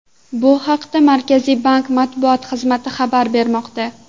Bu haqda Markaziy bank matbuot xizmati xabar bermoqda .